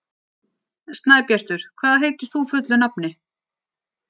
Snæbjartur, hvað heitir þú fullu nafni?